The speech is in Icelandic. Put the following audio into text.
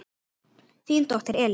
Þín dóttir, Elín.